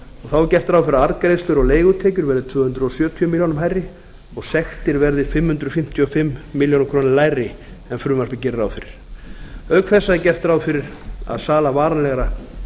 er gert ráð fyrir að arðgreiðslur og leigutekjur verði tvö hundruð sjötíu milljónum króna hærri og sektir verði fimm hundruð fimmtíu og fimm milljónir króna lægri en frumvarpið gerir ráð fyrir auk þessa er gert ráð fyrir að sala varanlegra